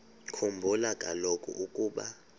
khumbula kaloku ukuba